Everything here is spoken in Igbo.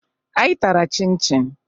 Anyị tara chịn chịn